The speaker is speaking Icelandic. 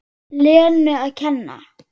Lenu að kenna.